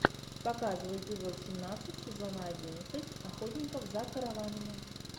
показывай эпизод семнадцать сезона одиннадцать охотников за караванами